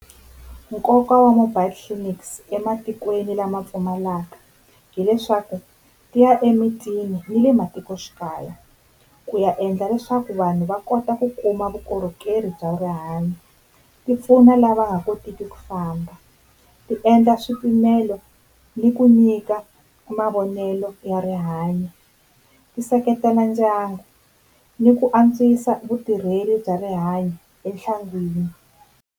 Nkoka wa mobile clinics ematikweni lama pfumalaka hileswaku ti ya emitini ni le matikoxikaya ku ya endla leswaku vanhu va kota ku kuma vukorhokeri bya rihanyo. Tipfuna lava nga kotiki ku famba, ti endla swipimelo ni ku nyika mavonelo ya rihanyo, ti seketela ndyangu ni ku antswisa vutirheli bya rihanyo enhlangwini.